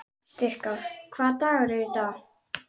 Styrkár, hvaða dagur er í dag?